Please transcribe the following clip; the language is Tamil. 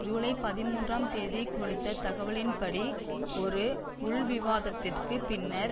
ஜூலை பதிமூன்றாம் தேதி கொடுத்த தகவலின்படி ஒரு உள்விவாதத்திற்குப் பின்னர்